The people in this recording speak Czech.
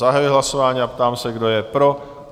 Zahajuji hlasování a ptám se, kdo je pro?